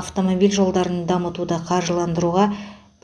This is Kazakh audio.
автомобиль жолдарын дамытуды қаржыландыруға